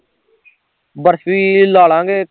barfi ਲਾਲਾਂਗੇ